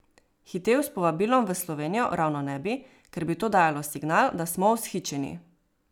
Hitel s povabilom v Slovenijo ravno ne bi, ker bi to dajalo signal, da smo vzhičeni.